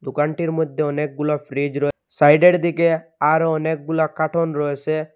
দোকানটির মধ্যে অনেকগুলা ফ্রিজ রয়েছে সাইডের মধ্যে আরো অনেকগুলা কার্টন রয়েছে।